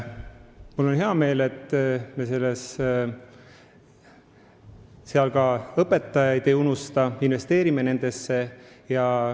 Mul on hea meel, et me ka õpetajaid ei unusta, vaid investeerime nendesse.